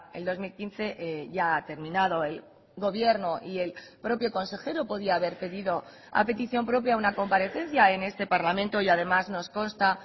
el dos mil quince ya ha terminado el gobierno y el propio consejero podía haber pedido a petición propia una comparecencia en este parlamento y además nos consta